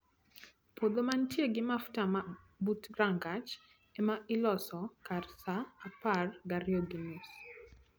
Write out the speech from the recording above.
Puodho ma nitie gi mafua but rangach ema iloso kar saa apar gariyo gi nus